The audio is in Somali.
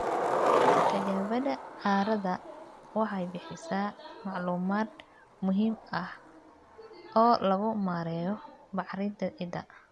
Tijaabada carrada waxay bixisaa macluumaad muhiim ah oo lagu maareeyo bacrinta ciidda.